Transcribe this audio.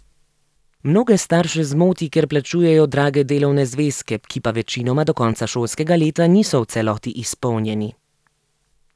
Mnoge starše zmoti, ker plačujejo drage delovne zvezke, ki pa večinoma do konca šolskega leta niso v celoti izpolnjeni.